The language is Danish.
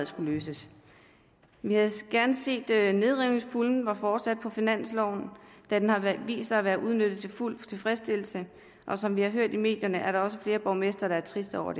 skulle løses vi havde gerne set at nedrivningspuljen var fortsat på finansloven da den har vist sig at være udnyttet til fuld tilfredsstillelse og som vi har hørt i medierne er der også flere borgmestre der er triste over at